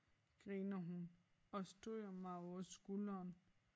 Griner hun og stryger mig over skulderen